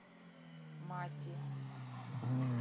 мати